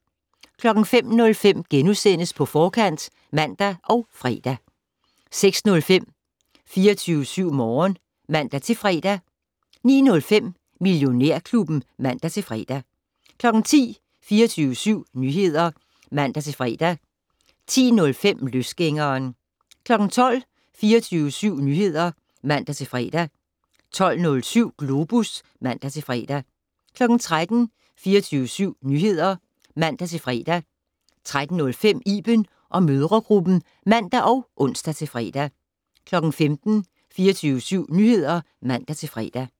05:05: På Forkant *(man og fre) 06:05: 24syv Morgen (man-fre) 09:05: Millionærklubben (man-fre) 10:00: 24syv Nyheder (man-fre) 10:05: Løsgængeren 12:00: 24syv Nyheder (man-fre) 12:07: Globus (man-fre) 13:00: 24syv Nyheder (man-fre) 13:05: Iben & mødregruppen (man og ons-fre) 15:00: 24syv Nyheder (man-fre)